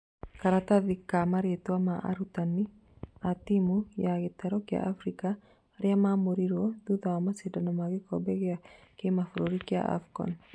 Karatathi ka marĩtwa ma arutani a timũ ya gĩtaro kĩa Afrika arĩa marũmĩrĩirwo thutha wa macindano ma gĩkombe gĩa kĩmabũrũri kĩa Afcon